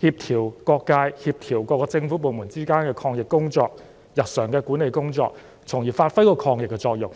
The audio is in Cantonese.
協調各界及各個政府部門之間的抗疫工作及日常的管理工作，從而發揮抗疫的作用。